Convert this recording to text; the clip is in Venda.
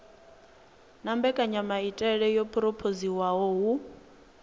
na mbekanyamaitele yo phurophoziwaho hu